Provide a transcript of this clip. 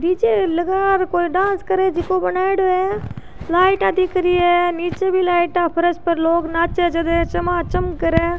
डी J लगा और कोई डांस करे जिको बनायेदो है लाइटाँ दिखरी है निचे भी लाइट फर्श पर लोग नाचे जबे चमा चम् करे है।